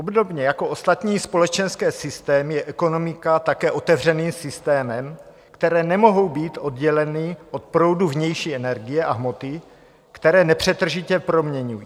Obdobně jako ostatní společenské systémy je ekonomika také otevřeným systémem, které nemohou být odděleny od proudu vnější energie a hmoty, které nepřetržitě proměňují.